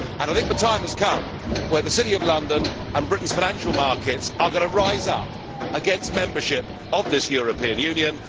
I think the time has come when the City of London and Britain's financial markets are going to rise up against membership of this European Union.